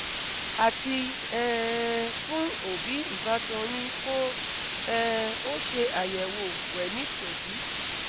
àti um fún òbí ìbátan yín kó um o ṣe ayẹ̀wò wẹ̀nítòbí